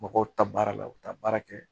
Mɔgɔw ta baara la u bɛ taa baara kɛ